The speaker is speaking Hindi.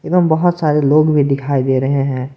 एवं बहुत सारे लोग भी दिखाई दे रहे हैं।